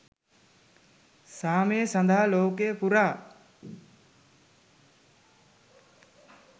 සාමය සඳහා ලෝකය පුරා